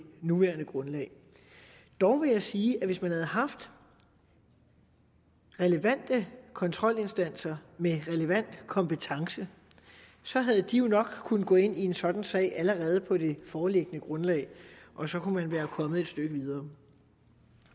nuværende grundlag dog vil jeg sige at hvis man havde haft relevante kontrolinstanser med relevant kompetence havde de jo nok kunnet gå ind i en sådan sag allerede på det foreliggende grundlag og så kunne man være kommet et stykke videre